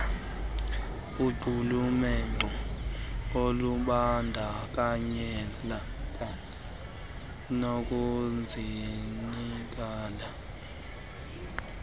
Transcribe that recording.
aqulunqe ukubandakanyeka nokuzinikezela